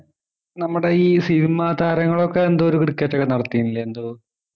നമ്മുടെ ഈ cinema താരങ്ങൾ ഒക്കെ എന്തോ ഒരു cricket ഒക്കെ നടത്തീനില്ലേ എന്തോ